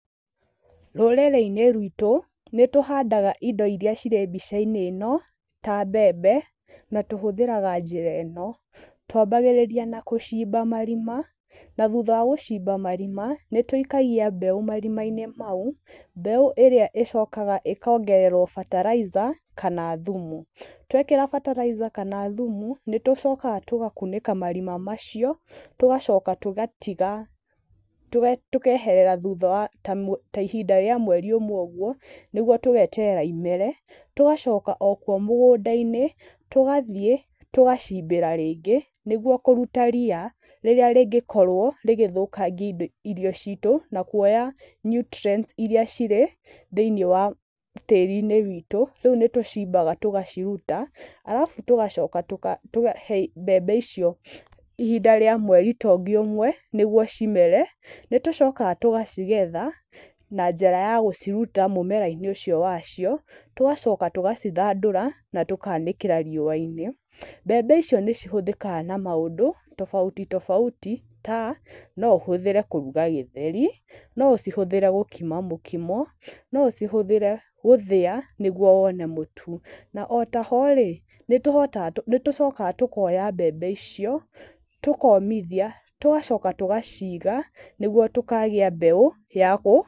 Rũrĩrĩ-inĩ rwitũ, nĩ tũhandaga indo iria cirĩ mbica-inĩ ĩno ta mbembe, na tũhũthĩraga njĩra ĩno, twambagĩrĩria na gũcimba marima, na thutha wa gũcimba marima, nĩ tũikagia mbeũ marima-inĩ mau, mbeũ ĩrĩa ĩcokaga ĩkongererwo fertilizer kana thumu, twekĩra fertilizer kana thumu, nĩ tũcokaga tũgakunĩka marima macio, tũgacoka tũgatiga tũkeherera thutha wa ta ihinda rĩa mweri ũmwe ũguo nĩguo tũgeterera imere, tũgacoka o kuo mũgũnda-inĩ, tũgathiĩ tũgacimbĩra rĩngĩ nĩguo kũruta ria, rĩrĩa rĩngĩkorwo rĩgĩthũkangia irio citũ na kuoya nutrients iria cirĩ thĩiniĩ wa tĩri-inĩ witũ, rĩu nĩ tũcimbaga tũgaciruta, arabu tũgacoka tũkahe mbembe icio ihinda rĩa mweri ta ũngĩ ũmwe, nĩguo cimere, nĩ tũcokaga tũgacigetha na njĩra ya gũciruta mũmera-inĩ ũcio wacio, tũgacoka tũgacithandũra na tũgacianĩkĩra riũa-inĩ. Mbembe icio nĩ cihũthĩkaga na maũndũ tofauti tofauti ta, no ũhũthĩre kũruga gĩtheri, no ũcihũthĩre gũkima mũkimo, no ũcihũthĩre gũthĩa nĩguo wone mũtu. Na o ta ho rĩ, nĩ tũcokaga tũkoya mbembe icio, tũkomithia, tũgacoka tũgaciiga, nĩguo tũkagia mbeũ ya kũhanda.